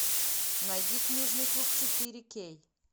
найди книжный клуб четыре кей